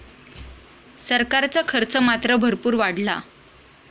सरकारचा खर्च मात्र भरपूर वाढला.